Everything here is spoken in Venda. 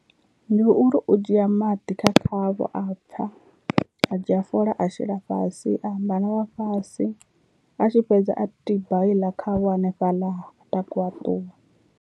Ndi uri u dzhia maḓi kha khavho a pfha a dzhia fola a shela fhasi a amba na vhafhasi a tshi fhedza a tiba heiḽa khavho hanefhaḽa a takuwa a ṱuwa.